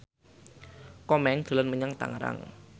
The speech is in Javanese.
Komeng dolan menyang Tangerang